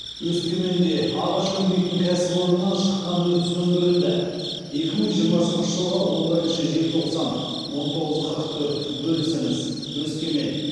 өскеменде ағаш өңдейтін кәсіпорыннан шыққан өрт сөндірілді екі мың жиырмасыншы жылғы он бірінші желтоқсан он тоғыз қырық төрт бөлісіңіз өскемен